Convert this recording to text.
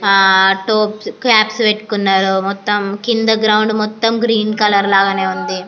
ఆ tops caps పెట్టుకున్నారు కింద అంత గ్రీన్ కలర్ లనే ఉంది.